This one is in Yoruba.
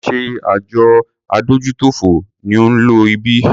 Ṣé àjọ adójútòfò ni ó ń lo ibí?